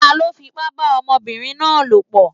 Taló fipá bá ọmọbìnrin náà lòpọ̀?